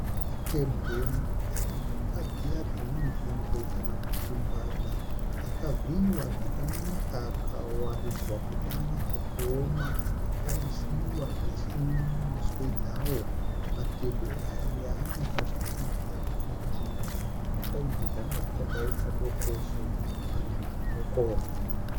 Matebwe emhuka dziya dzinonzi ngwe kana kuti mbada akavhiiwa zvakanaka akawaridzwa kuti anyatsokuoma akaisiwa zvese nemuswe dzawo. Matebwe aya anoratidza kuti mhuka idzi dzanga dzichakaita doko sezvo ari madoko.